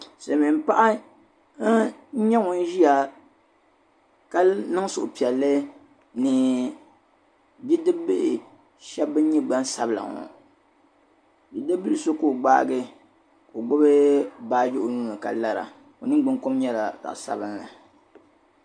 Silimiim paɣa n-nyɛ ŋun ʒia ka niŋ suhupiɛlli ni bidibibihi ban nyɛ gbansabila ŋɔ bidibibila so ka o gbaagi ka o gbibi baaji o nuu ni ka lara o niŋguŋkom nyɛla zaɣ' sabilinli.